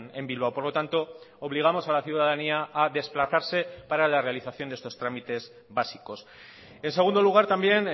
en bilbao por lo tanto obligamos a la ciudadanía a desplazarse para la realización de estos trámites básicos en segundo lugar también